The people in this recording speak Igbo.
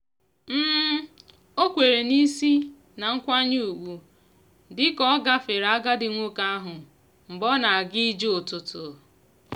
o kwere n'isi na nkwenye ugwu dị ka ọ gafere agadi nwoke ahụ mgbe ọ na-aga ije ụtụtụ.